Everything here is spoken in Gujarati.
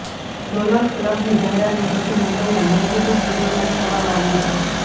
ડોલર ક્લબની જાહેરાતનું શૂટિંગ મુંબઈના મહેબૂબ સ્ટોડિયો ખાતે કરવામાં આવ્યું છે